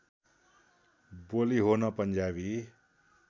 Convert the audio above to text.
बोली हो न पन्जाबी